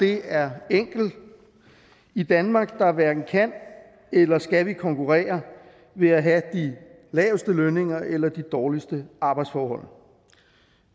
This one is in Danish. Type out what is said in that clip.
det er enkel i danmark hverken kan eller skal vi konkurrere ved at have de laveste lønninger eller de dårligste arbejdsforhold